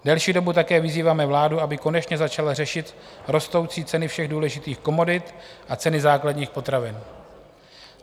Delší dobu také vyzýváme vládu, aby konečně začala řešit rostoucí ceny všech důležitých komodit a ceny základních potravin.